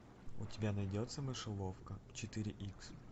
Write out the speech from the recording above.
у тебя найдется мышеловка четыре икс